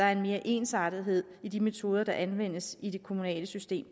er mere ensartethed i de metoder der anvendes i det kommunale system